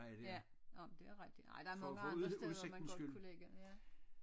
Ja nåh men det er rigtigt nej der er mange andre steder man godt kunne lægge ja